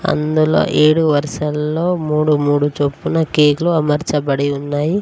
అందులో ఏడు వర్సల్లో మూడు మూడు చొప్పున కేకులు అమర్చబడి ఉన్నాయి.